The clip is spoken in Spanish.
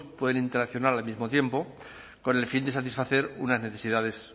pueden interaccionar al mismo tiempo con el fin de satisfacer unas necesidades